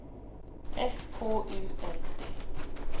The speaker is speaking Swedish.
S K U L D